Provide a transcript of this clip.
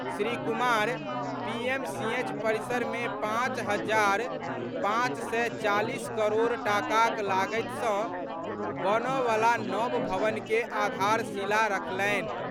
Shri Kumar PMCH परिसर मे पांच हजार पांच सय चालीस करोड़ टाकाक लागति सँ बनऽ बला नव भवन के आधारशिला राखलनि।